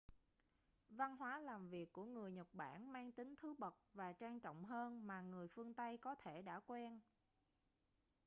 văn hóa làm việc của người nhật bản mang tính thứ bậc và trang trọng hơn mà người phương tây có thể đã quen